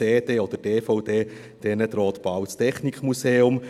Den CDs oder DVDs droht bald das Technikmuseum.